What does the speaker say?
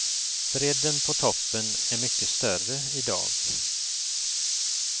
Bredden på toppen är mycket större idag.